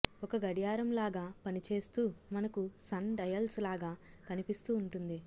ఒక గడియారంలాగా పని చేస్తూ మనకు సన్ డయల్స్ లాగా కనిపిస్తూ వుంటుంది